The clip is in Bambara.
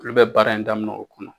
Olu bɛ baara in daminɛ o kɔnɔ.